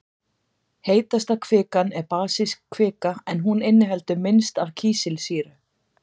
heitasta kvikan er basísk kvika en hún inniheldur minnst af kísilsýru